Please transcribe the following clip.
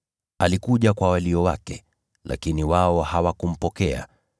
Alikuja kwa walio wake, lakini wao hawakumpokea.